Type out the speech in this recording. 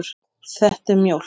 Þetta er mjólk.